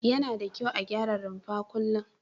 Yana da kyau a gyara rumfa kullum.